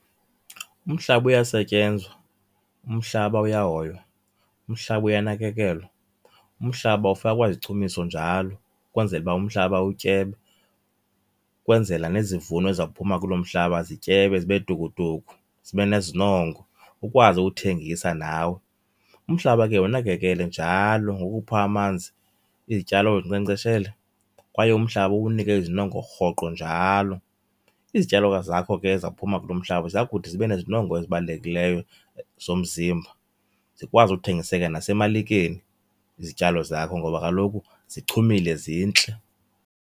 Umhlaba uyasetyenzwa, umhlaba uyahoywa, umhlaba uyanakekelwe, umhlaba ufakwa izichumiso njalo ukwenzela uba umhlaba utyebe ukwenzela nezivuno eziza kuphuma kuloo mhlaba zityebe zibe tukutuku, zibe nezinongo ukwazi ukuthengisa nawe. Umhlaba ke wunakekele njalo ngokuwupha amanzi, izityalo uzinkcenkceshele kwaye umhlaba uwunike izinongo rhoqo njalo. Izityalo zakho ke ezizawuphuma kulo mhlaba ziya kuthi zibe nezinongo ezibalulekileyo zomzimba zikwazi uthengiseka nesemalikeni izityalo zakho, ngoba kaloku zichumile zintle.